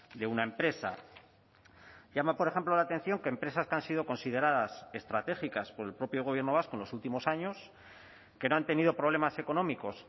de una empresa llama por ejemplo la atención que empresas que han sido consideradas estratégicas por el propio gobierno vasco en los últimos años que no han tenido problemas económicos